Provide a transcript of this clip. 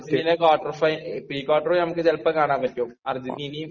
പിന്നെ അർജന്റീനയുടെ quarter final pre quarter നമുക്ക് ചിലപ്പോ കാണാൻ പറ്റും. അർജന്റീനയും...